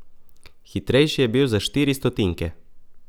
Hitrejši je bil za štiri stotinke.